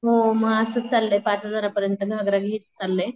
हो म असंच चाललंय पाच हजार पर्यंत घागरा घ्यायचं चाललय.